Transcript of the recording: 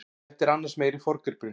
Þetta er annars meiri forngripurinn.